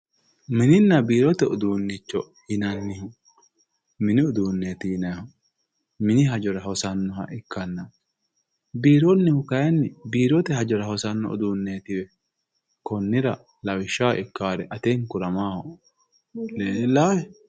Mininna biirote uduuncho yinanni mini uduuneti yinannihu mini hajora hosanoha ikkanna biironihu kayinni biirote hajora hosanno uduunneetiwe konnira lawishshaho ikkare atenkura maaho dileellahe?